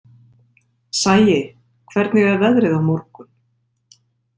Sæi, hvernig er veðrið á morgun?